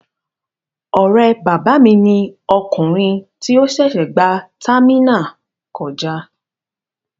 Ọ̀rẹ́ bàbá mi ni ọkùnrin tí ó ṣẹ̀ṣẹ̀ gba támínà kọjá.